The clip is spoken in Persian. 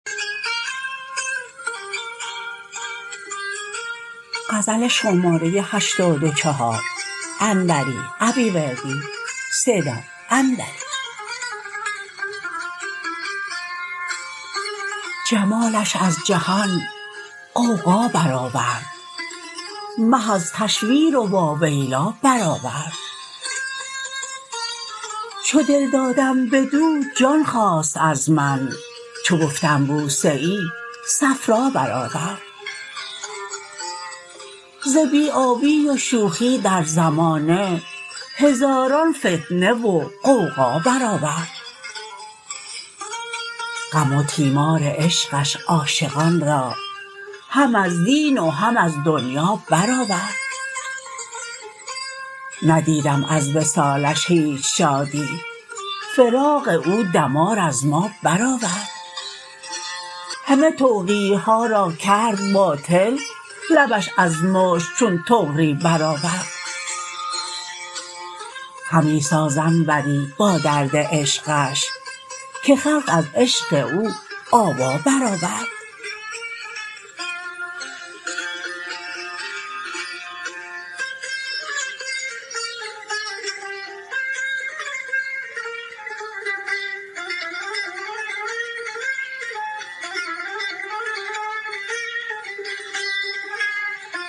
جمالش از جهان غوغا برآورد مه از تشویر واویلا برآورد چو دل دادم بدو جان خواست از من چو گفتم بوسه ای صفرا برآورد ز بی آبی و شوخی در زمانه هزاران فتنه و غوغا برآورد غم و تیمار عشقش عاشقان را هم از دین و هم از دنیا برآورد ندیدم از وصالش هیچ شادی فراق او دمار از ما برآورد همه توقیع ها را کرد باطل لبش از مشک چون طغری برآورد همی ساز انوری با درد عشقش که خلق از عشق او آوا برآورد